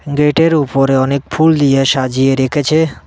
Gate -এর উপরে অনেক ফুল দিয়ে সাজিয়ে রেখেছে।